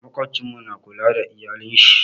Maƙwabcin mu na kula da iyalin shi.